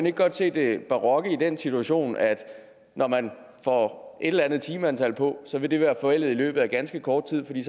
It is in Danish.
ikke godt se det barokke i den situation altså når man får sat eller andet timeantal på vil det være forældet i løbet af ganske kort tid fordi